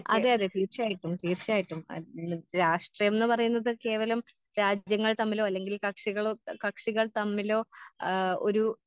അതെ അതെ തീർച്ചയായിട്ടും തീർച്ചയായിട്ടും അത് ഇന്ന് രാഷ്ട്രീയംന്ന് പറയുന്നത് കേവലം രാജ്യങ്ങൾ തമ്മിലോ അല്ലെങ്കിൽ കക്ഷികളോ കക്ഷികൾ ആ ഒരു.